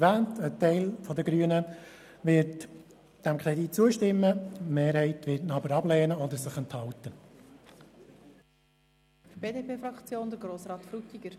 Ein Teil der Grünen stimmt diesem Kredit zu, die Mehrheit lehnt ihn aber ab oder enthält sich.